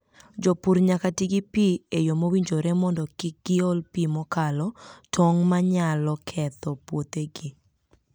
Jopur nyaka ti gi pi e yo mowinjore mondo kik giol pi mokalo tong' ma nyalo ketho puothegi.